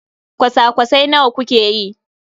kwasa-kwasai nawa kuke yi?